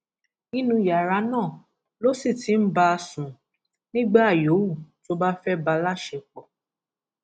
nínú yàrá náà ló sì ti ń bá a sùn nígbà yòówù tó bá fẹẹ bá a láṣepọ